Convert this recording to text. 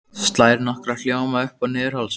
Slær nokkra hljóma upp og niður hálsinn.